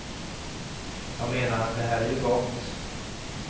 Jag menar, det här är ju gott.